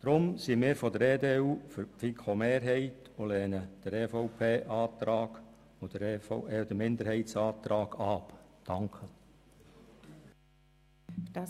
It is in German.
Deshalb sind wir für den Antrag der FiKo-Mehrheit und lehnen die Minderheitsanträge ab.